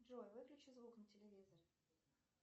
джой выключи звук на телевизоре